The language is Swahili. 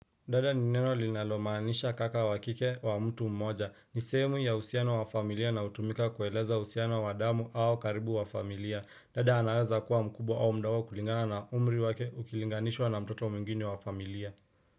Dada ni neno linalomaanisha kaka wa kike wa mtu mmoja. Nisehemu ya uhusiano wa familia na hutumika kueleza uhusiano wa damu au karibu wa familia. Dada anaweza kuwa mkubwa au mdogo kulingana na umri wake ukilinganishwa na mtoto mwingine wa familia.